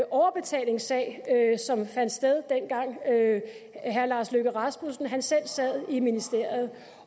overbetalingssag som fandt sted dengang herre lars løkke rasmussen selv sad i ministeriet